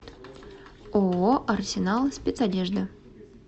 ооо арсенал спецодежда